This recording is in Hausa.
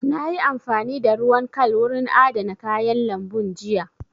Na yi amfani da ruwan kal wurin adana kayan lambun jiya